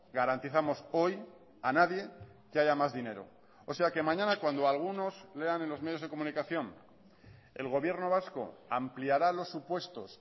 garantizamos hoy a nadie que haya más dinero o sea que mañana cuando algunos lean en los medios de comunicación el gobierno vasco ampliará los supuestos